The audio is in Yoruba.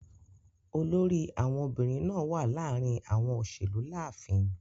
Olórí àwọn obìrin naa wa láàrin àwọn òṣèlú láàfin.